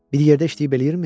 Birlikdə işləyib eləyirmi?